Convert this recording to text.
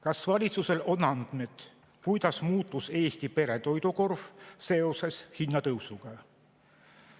Kas valitsusel on andmeid, kuidas on muutunud Eesti pere toidukorv seoses hinnatõusuga?